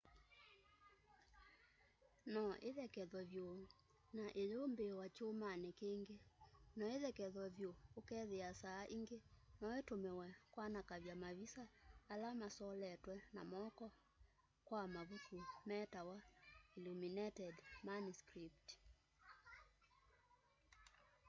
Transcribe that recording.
no íthekevywe vyu na iyumbííwa kyumani kingi. no íthekevywe vyu ukethia saa ingi noitumiwe kwanakavya mavisa ala masoletwe na moko kwa mavuku metawa illuminated manuscripts